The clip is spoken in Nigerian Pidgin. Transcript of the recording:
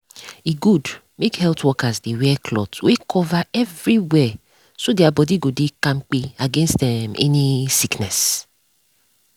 e good make health workers dey wear cloth wey cover everywhere so their body go dey kampe against um any sickness.